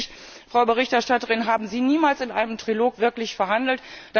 Offensichtlich, Frau Berichterstatterin, haben Sie niemals in einem Trilog wirklich verhandelt.